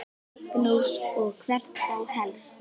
Magnús: Og hvert þá helst?